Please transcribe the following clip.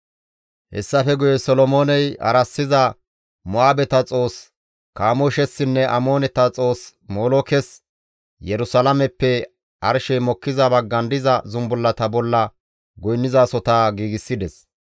Hessafe guye Solomooney harassiza Mo7aabeta xoossa Kamooshessinne Amooneta xoossa Molookes Yerusalaameppe arshey mokkiza baggan diza zumbullata bolla goynnizasota giigsides.